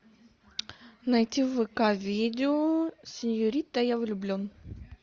найти в вк видео сеньорита я влюблен